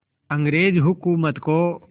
अंग्रेज़ हुकूमत को